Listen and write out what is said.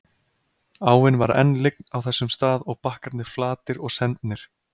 Áin var enn lygn á þessum stað og bakkarnir flatir og sendnir.